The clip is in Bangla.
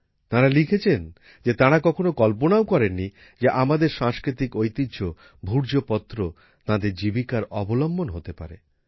তাঁরা লিখেছেন যে তারা কখনো কল্পনাও করেননি যে আমাদের সাংস্কৃতিক ঐতিহ্য ভূর্জপত্র তাঁদের জীবিকার অবলম্বন হতে পারে